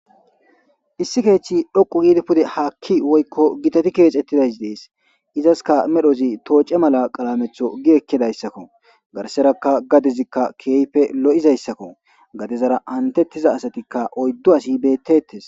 issi kethi dhoqu yiidi pude haakki woykko gitati keexettidays dees izaska medhozi tooce mala qalametho gi ekkidayssakko garserakka gadezikka keeyfe lo7izayssakko gadezara antettiza asatikka oyddo asi bettetes